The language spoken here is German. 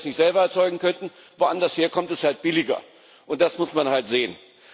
Nicht, dass wir das nicht selber erzeugen könnten, woanders her kommt es halt billiger. Das muss man halt sehen.